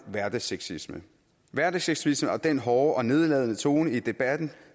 hverdagssexisme hverdagssexisme og den hårde og nedladende tone i debatten